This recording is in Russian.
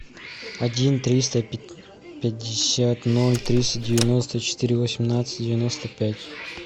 один триста пятьдесят ноль триста девяносто четыре восемнадцать девяносто пять